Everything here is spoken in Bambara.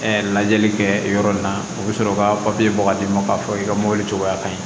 Ɛɛ lajɛli kɛ yɔrɔ in na u be sɔrɔ ka papiye bɔ ka d'i ma k'a fɔ i ka mɔbili cogoya ka ɲi